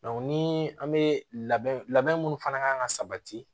ni an bɛ labɛn labɛn minnu fana kan ka sabati